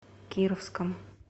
кировском